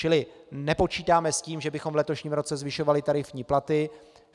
Čili nepočítáme s tím, že bychom v letošním roce zvyšovali tarifní platy.